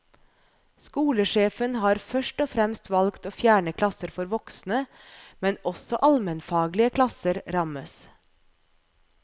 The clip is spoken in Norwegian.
Skolesjefen har først og fremst valgt å fjerne klasser for voksne, men også allmenfaglige klasser rammes.